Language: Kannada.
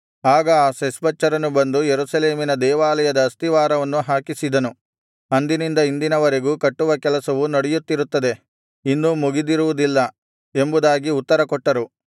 ಆಗ ಆ ಶೆಷ್ಬಚ್ಚರನು ಬಂದು ಯೆರೂಸಲೇಮಿನ ದೇವಾಲಯದ ಅಸ್ತಿವಾರವನ್ನು ಹಾಕಿಸಿದನು ಅಂದಿನಿಂದ ಇಂದಿನ ವರೆಗೂ ಕಟ್ಟುವ ಕೆಲಸವು ನಡೆಯುತ್ತಿರುತ್ತದೆ ಇನ್ನೂ ಮುಗಿದಿರುವುದಿಲ್ಲ ಎಂಬುದಾಗಿ ಉತ್ತರಕೊಟ್ಟರು